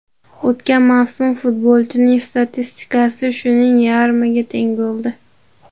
O‘tgan mavsum futbolchining statistikasi shuning yarmiga teng bo‘ldi.